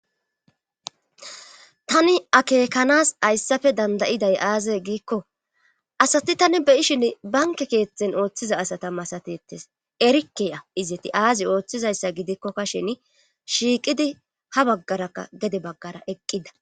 Tani akeekanas hayssafe dandayiday aaze giikko asati tani beyishin banke keetheten ooththiza asata masatettes erikeya izeti aazi ooththizayssa gidikkokka shen shiiqidi ha baggarakka gede baggara eqqida